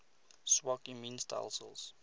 swak immuun stelsels